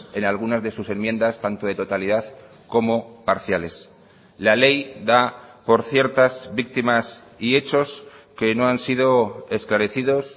en algunas de sus enmiendas tanto de totalidad como parciales la ley da por ciertas víctimas y hechos que no han sido esclarecidos